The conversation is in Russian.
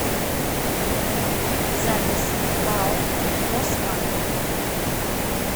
запись пао росбанк